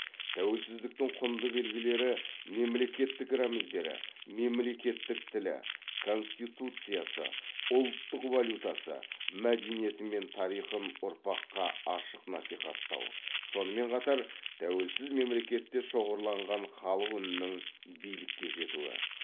тәуелсіздіктің құнды белгілері мемлекеттік рәміздері мемлекеттік тілі конституциясы ұлттық валютасы мәдениеті мен тарихын ұрпаққа ашық насихаттау сонымен қатыр тәуелсіз мемлекетте шоғырланған халық үнінің билікке жетуі